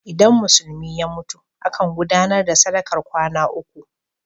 Idan Musulmi ya mutu, akan gudanar da sadakar kwana uku.